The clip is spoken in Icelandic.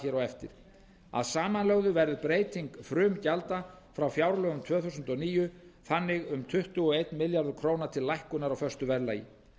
hér á eftir að samanlögðu verður breyting frumgjalda frá fjárlögum tvö þúsund og níu þannig um tuttugu og einn milljarður króna til lækkunar á föstu verðlagi